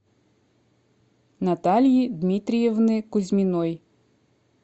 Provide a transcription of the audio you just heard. натальи дмитриевны кузьминой